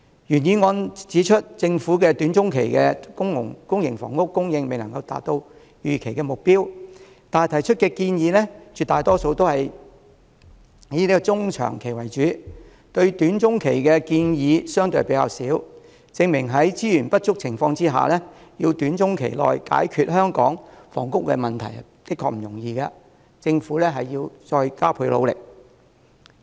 原議案指出政府短中期的公營房屋供應未能符合預期目標，但提出的建議絕大部分卻是以中長期為主，關於短中期的建議相對較少，證明在資源不足的情況下，要短中期內解決香港房屋問題殊不容易，政府應加倍努力。